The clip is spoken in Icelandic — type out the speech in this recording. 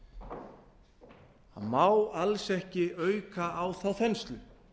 það má alls ekki auka á þá þenslu